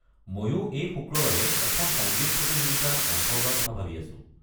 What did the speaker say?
মইও এই শুক্ৰবাৰে এখন সংগীত প্ৰতিযোগিতাত অংশ লোৱাৰ কথা ভাবি আছো।